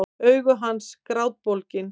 Augu hans grátbólgin.